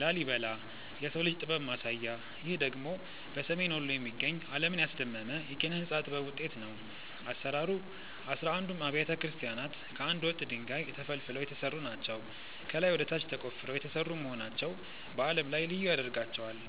ላሊበላ (Lalibela) - "የሰው ልጅ ጥበብ ማሳያ" ይህ ደግሞ በሰሜን ወሎ የሚገኝ፣ ዓለምን ያስደመመ የኪነ-ሕንጻ ጥበብ ውጤት ነው። አሰራሩ፦ አሥራ አንዱም አብያተ ክርስቲያናት ከአንድ ወጥ ድንጋይ (Monolithic) ተፈልፍለው የተሰሩ ናቸው። ከላይ ወደ ታች ተቆፍረው የተሰሩ መሆናቸው በዓለም ላይ ልዩ ያደርጋቸዋል።